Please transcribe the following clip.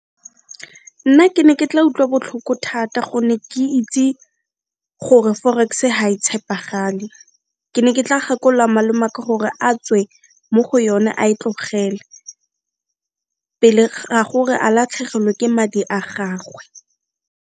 Nna ke ne ke tla utlwa botlhoko thata gonne ke itse gore forex ga e tshepagale, ke ne ke tla gakolola malome 'aka gore a tswe mo go yone a e tlogele pele ga gore a latlhegelwe ke madi a gagwe.